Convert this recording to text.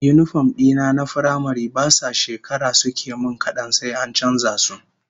Yinifom dina na firamare ba sa shekara suke min kadan sai an canza su